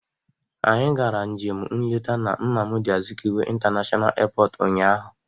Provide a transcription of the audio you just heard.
Anyị gara njem nleta na Nnamdị Azikiwe international airport unyaahụ.